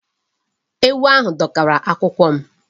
Ewu ahụ dọkara akwụkwọ m.